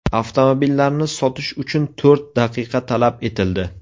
Avtomobillarni sotish uchun to‘rt daqiqa talab etildi.